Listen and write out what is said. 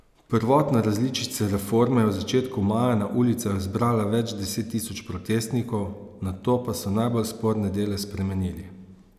Prvotna različica reforme je v začetku maja na ulicah zbrala več deset tisoč protestnikov, nato pa so najbolj sporne dele spremenili.